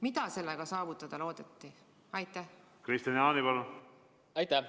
Mida sellega saavutada loodeti?